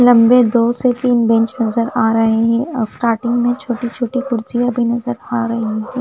लम्बे दो से तीन बेंच नज़र आरहे है और स्टार्टिंग में छोटे छोटे कुर्सियां भी नज़र आरही है।